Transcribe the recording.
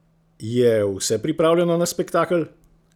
Je vse pripravljeno na spektakel?